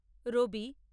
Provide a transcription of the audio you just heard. রবি